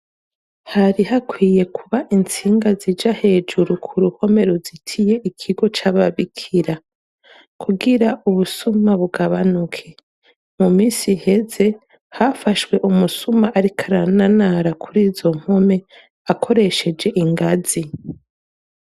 Hari hakwiye kuba intsinga zija hejuru ku ruhome ruzitiye ikigo c'ababikira, kugira ubusuma bugabanuke. Mu minsi heze hafashwe umusuma ariko arananara kuri izo mpome akoresheje ingazi.